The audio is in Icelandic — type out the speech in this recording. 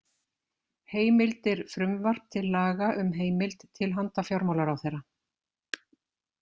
Heimildir Frumvarp til laga um heimild til handa fjármálaráðherra.